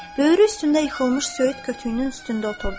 Böyürü üstündə yıxılmış söyüd kütüyünün üstündə oturdu.